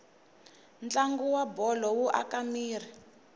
ntlangu wabholo wu aka miri